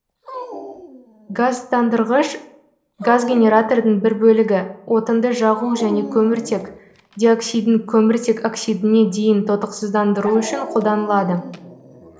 газдандырғыш газгенератордың бір бөлігі отынды жағу жөне кеміртек диоксидін кеміртек оксидіне дейін тотықсыздандыру үшін қолданылады